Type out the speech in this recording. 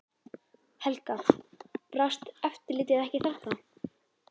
Helga: Brást eftirlitið ekki þarna?